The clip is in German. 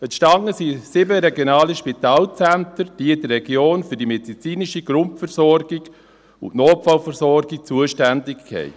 Entstanden sind sieben regionale Spitalzentren, die in der Region für die medizinische Grundversorgung und die Notfallversorgung zuständig sind.